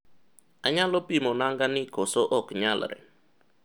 anyalo pimo nanga ni kose ok nyalre?